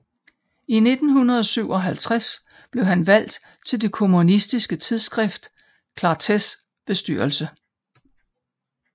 I 1957 blev han valgt til det kommunistiske tidsskrift Clartés bestyrelse